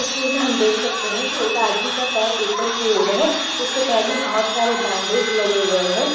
तस्वीर में हम देख सकते हैं कि एक आदमी का पैर ऊपर की ओर है उसके पैर में बोहोत सारे बैंडेज लगे हुए हैं।